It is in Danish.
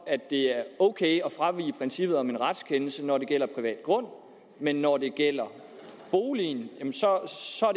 det er ok at fravige princippet om en retskendelse når det gælder privat grund men når det gælder boligen